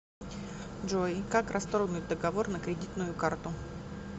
джой как расторгнуть договор на кредитную карту